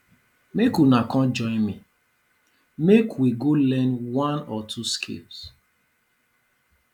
make una come join me make we go learn one or two skills